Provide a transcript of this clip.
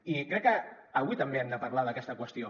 i crec que avui també hem de parlar d’aquesta qüestió